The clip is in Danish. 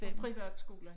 Og privatskolen